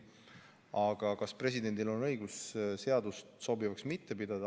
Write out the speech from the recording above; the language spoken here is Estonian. Aga kas presidendil on õigus seadusi mittesobivaks pidada?